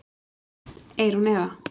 Eyrún Eva.